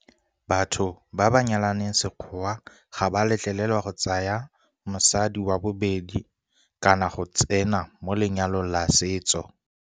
Batho ba ba nyalaneng sekgowa ga ba letlelelwa go ka tsaya mosadi wa bobedi kana go tsena mo lenyalong la setso.